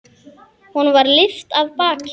Honum var lyft af baki.